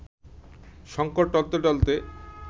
শঙ্কর টলতে টলতে